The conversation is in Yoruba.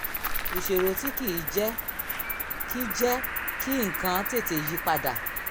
ìṣòro tí kì í jẹ́ kí jẹ́ kí nǹkan tètè yí pa dà